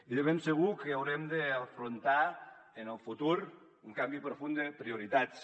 i de ben segur que haurem d’afrontar en el futur un canvi profund de prioritats